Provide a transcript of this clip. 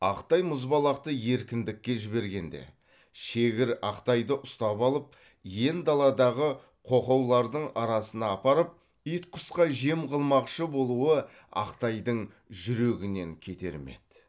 ақтай мұзбалақты еркіндікке жібергенде шегір ақтайды ұстап алып иен даладағы қоқаулардың арасына апарып ит құсқа жем қылмақщы болуы ақтайдың жүрегінен кетер ме еді